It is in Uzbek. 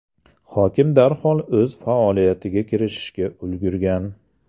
Hokim darhol o‘z faoliyatiga kirishishga ulgurgan.